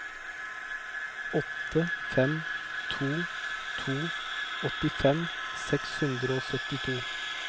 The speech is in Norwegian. åtte fem to to åttifem seks hundre og syttito